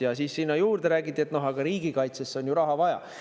Ja siis sinna juurde räägiti, et riigikaitsesse on ju raha vaja.